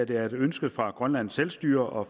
det er et ønske fra grønlands selvstyre og